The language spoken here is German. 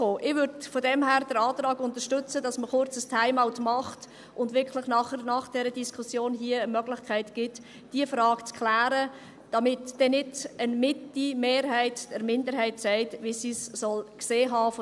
Ich würde von daher den Antrag unterstützen, dass man kurz ein Time-out macht und nach dieser Diskussion hier wirklich die Möglichkeit gibt, diese Frage zu klären, damit nicht eine Mitte-Mehrheit der Minderheit sagt, wie sie es gesehen haben soll.